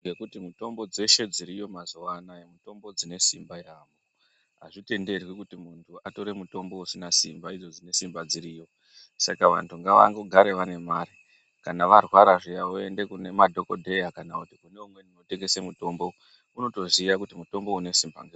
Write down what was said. Nekuti mitombo dzeshe dziriyo mazuva anawa mitombo dzine simba yambo azvitenderwi kuti muntu atore mutombo usina simba dziriyo saka vantu ngava gare variyo kana varwara zviya voenda kune madhokodheya kana kuzvitoro zvinotengeswa mitombo wotoziya kuti mutombo une simba ngei.